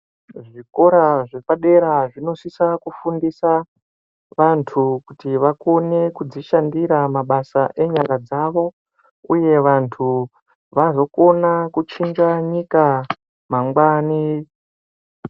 Kuzvikora zvepadera zvinosisa kufundisa vantu kuti vakone kudzishandira mabasa enyara dzavo uye vantu vazokona kuchinja nyika mangwani.